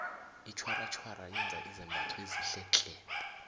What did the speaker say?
itjhwaratjhwara yenza izembatho ezinhle tle